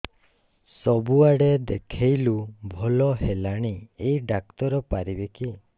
ସବୁଆଡେ ଦେଖେଇଲୁ ଭଲ ହେଲାନି ଏଇ ଡ଼ାକ୍ତର ପାରିବେ କି